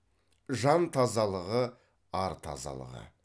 жан тазалығы ар тазалығы